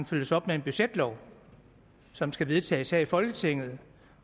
følges op med en budgetlov som skal vedtages her i folketinget